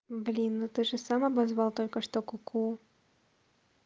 блин ну ты же сам обозвал только что ку-ку